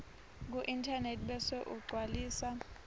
kuinternet bese ugcwalisa